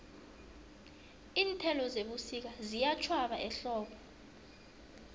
iinthelo zebusika ziyatjhwaba ehlobo